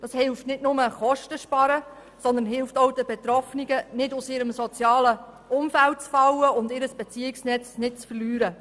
Das hilft nicht nur, Kosten zu sparen, sondern es hilft auch den Betroffenen, nicht aus ihrem sozialen Umfeld zu fallen und ihr Beziehungsnetz nicht zu verlieren.